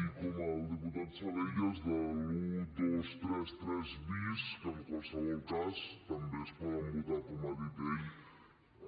i com el diputat salellas dels un dos tres tres bis que en qualsevol cas també es poden votar com ha dit